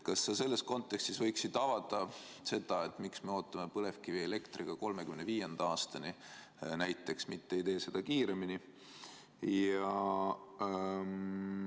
Kas sa selles kontekstis võiksid avada, miks me ootame põlevkivielektriga 2035. aastani näiteks, mitte ei tee seda kiiremini?